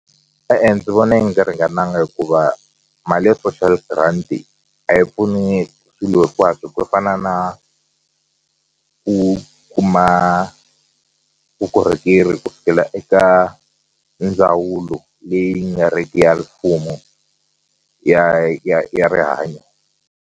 E-e, ndzi vona yi nga ringananga hikuva mali ya social grant a yi pfuni swilo hinkwaswo ku fana na ku kuma vukorhokeri ku fikela eka ndzawulo leyi nga riki ya mfumo ya ya ya rihanyo.